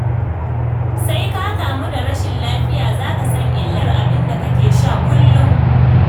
Sai ka kamu da rashin lafiya za ka san illar abin da kake sha kullum.